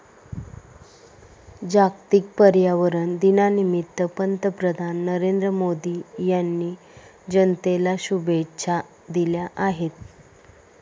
जागतिक पर्यावरण दिनानिमित्त पंतप्रधान नरेंद्र मोदी यांनी जनतेला शुभेच्छा दिल्या आहेत.